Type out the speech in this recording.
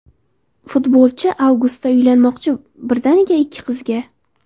Futbolchi avgustda uylanmoqchi, birdaniga ikki qizga!.